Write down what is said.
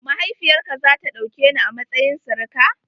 Mahaifiyar ka za ta ɗauke ni a matsayin sirika?